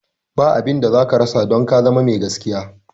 Ba abinda zaka rasa don ka zama me gaskiya.